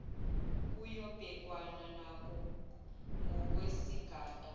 kuyobhekwana nako ngokwesigaba